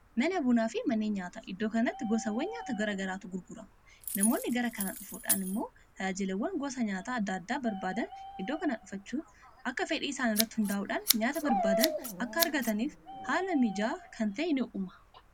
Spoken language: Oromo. mana bunaa fi mannee nyaata iddoo kanatti gosawwan nyaata gora garaatu gurgurama namoonni gara kanaa dhufuudhaan immoo talaajiliwwan gosa nyaataa adda addaa barbaadan iddoo kanaa dhufachuu akka fedhii isaan irratti hundaa'uudhaan nyaata barbaadan akka argataniif haala mijaa kantae in uma